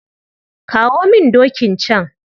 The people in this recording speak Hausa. Kamo min dokin can.